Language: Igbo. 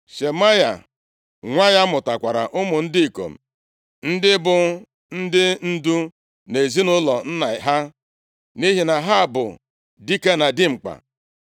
Shemaya, nwa ya mụtakwara ụmụ ndị ikom, ndị bụ ndị ndu nʼezinaụlọ nna ha, nʼihi na ha bụ dike na dimkpa.